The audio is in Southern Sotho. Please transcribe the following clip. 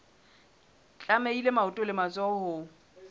tlamehile maoto le matsoho ho